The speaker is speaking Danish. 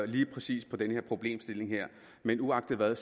lige præcis den problemstilling her men uagtet hvad